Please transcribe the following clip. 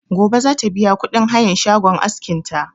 Gobe za ta biya kuɗin hayan shagon askin ta